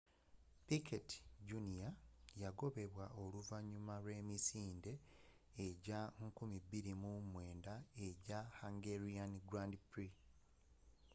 piquet jr yagobebwa oluvanyuma lw'emisinde ejja 2009 ejja hungarian grand prix